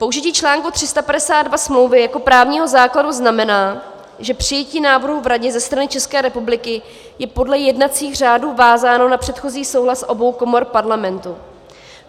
Použití článku 352 smlouvy jako právního základu znamená, že přijetí návrhu v Radě ze strany České republiky je podle jednacích řádů vázáno na předchozí souhlas obou komor Parlamentu.